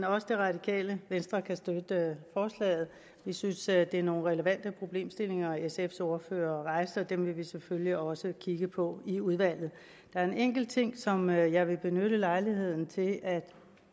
også det radikale venstre kan støtte forslaget vi synes at det var nogle relevante problemstillinger sfs ordfører rejste og dem vil vi selvfølgelig også kigge på i udvalget der er en enkelt ting som jeg jeg vil benytte lejligheden til at